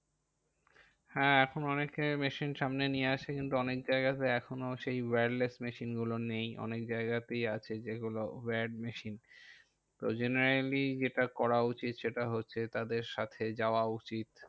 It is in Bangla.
হ্যাঁ এখন অনেকেই machine সামনে নিয়ে আসে কিন্তু অনেক জায়গাতে এখনোও সেই wireless machine গুলো নেই। অনেক জায়গাতেই আছে যেইগুলো wired machine তো generally যেটা করা উচিত, সেটা হচ্ছে তাদের সাথে যাওয়া উচিত।